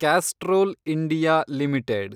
Castrol India limited